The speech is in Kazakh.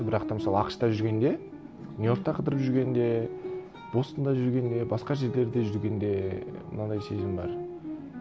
бірақ та мысалы ақш та жүргенде нью йоркта қыдырып жүргенде бостонда жүргенде басқа жерлерде жүргенде мынандай сезім бар